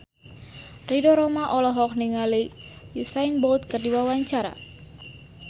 Ridho Roma olohok ningali Usain Bolt keur diwawancara